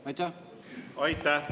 Aitäh!